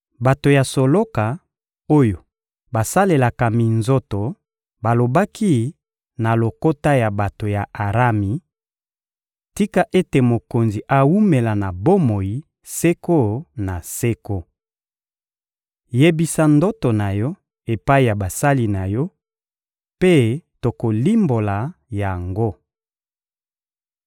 Bato ya soloka, oyo basalelaka minzoto balobaki na lokota ya bato ya Arami: — Tika ete mokonzi awumela na bomoi seko na seko! Yebisa ndoto na yo epai ya basali na yo, mpe tokolimbola yango.